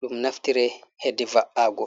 ɗum naftiri hedi va’aago.